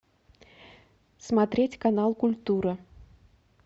смотреть канал культура